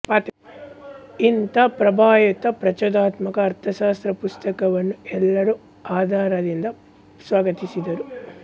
ಇಂಥ ಪ್ರಭಾವಯುತ ಪ್ರಚೋದನಾತ್ಮಕ ಅರ್ಥಶಾಸ್ತ್ರ ಪುಸ್ತಕವನ್ನು ಎಲ್ಲರೂ ಆದರಿಂದ ಸ್ವಾಗತಿಸಿದರು